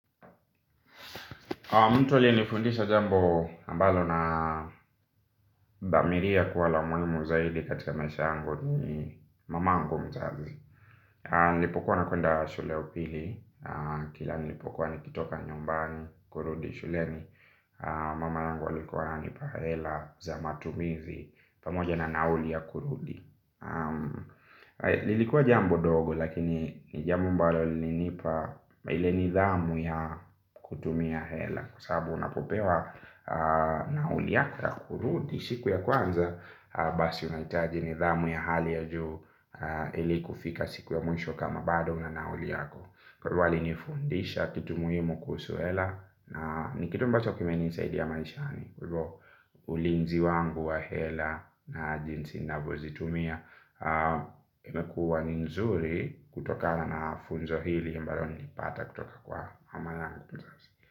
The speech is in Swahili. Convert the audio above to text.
Mtu aliye nifundisha jambo mbalo na thamiria kuwa la umuhimu zaidi katika maisha yangu ni mamaangu mzazi. Nilipokuwa nakwenda shule ya upili, kila nilipokuwa nikitoka nyumbani kurudi shuleni mama yangu alikuwa ananipa hela za matumizi pamoja na nauli ya kurudi. Lilikuwa jambo ndogo lakini jambo mbalo lilinipa ile nidhamu ya kutumia hela. Kwasabu unapopewa nauli yako ya kurudi siku ya kwanza basi unaitaji nidhamu ya hali ya juu hili kufika siku ya mwisho kama bado una nauli yako. Kwa hivyo alinifundisha kitu muhimu kuhusu hela. Ni kitu mbacho kimenisaidi maishani. Ulinzi wangu wa hela na jinsi navyozitumia imekuwa ni nzuri kutokana na funzo hili ambalo nilipata kutoka kwa mamayangu.